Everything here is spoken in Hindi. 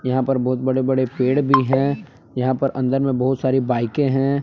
यहाँ पर बहुत बड़े बड़े पेड़ भी है यहाँ पर अंदर मे बहुत सारी बाइकें है।